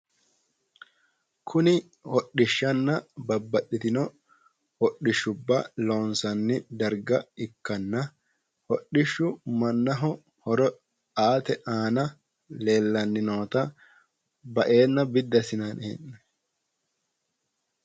Kuni hodhishshanna babbaxxitino hodhishshubba loonsanni darga ikkanna hodhishshu mannaho horo aate aana noota, baeenna biddi assinanni hee'noonnita leellishanno.